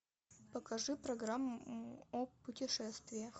покажи программу о путешествиях